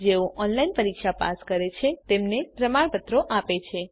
જેઓ ઓનલાઇન પરીક્ષા પાસ કરે છે તેમને પ્રમાણપત્ર આપે છે